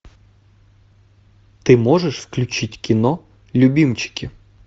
ты можешь включить кино любимчики